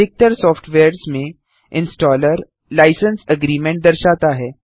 अधिकतर सॉफ्टवेयर्स में installer licence agreement दर्शाता है